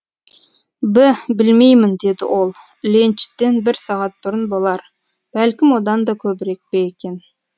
б білмеймін деді ол ленчтен бір сағат бұрын болар бәлкім одан да көбірек пе екен